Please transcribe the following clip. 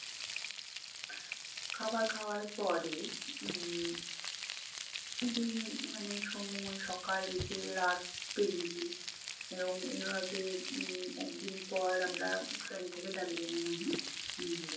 খাবার খাওয়ার পরে উম দিন মানে সময় সকাল বিকেল রাত পেরিয়েছে এবং এরম এভাবে উম একদিন পর আমরা train থেকে দার্জিলিং-এ নামি।